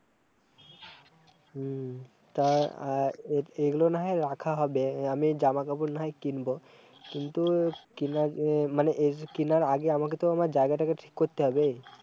হম তা-আ-এইগুলো না হয় রাখা হবে, আমি জামা কাপড় না হয় কিনবো, কিন্তু কিনার এ-মানে এসব কিনার আগে আমাকে তো আমার জায়গাতাকে ঠিক করতে হবে